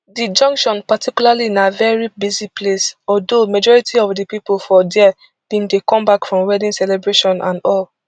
di junction particularly na veri busy place although majority of di pipo for dia bin dey come back from wedding celebration and all